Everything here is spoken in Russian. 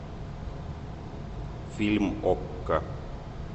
фильм окко